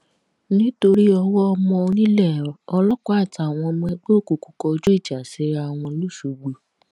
nítorí owó ọmọ onílẹ̀ ọlọ́pàá àtàwọn ọmọ ẹgbẹ́ òkùnkùn kọjú ìjà síra wọn lọ́ṣogbo